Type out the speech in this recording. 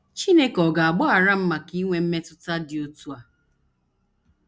‘ Chineke Ọ̀ Ga - agbaghara M Maka Inwe Mmetụta Dị Otú A? ’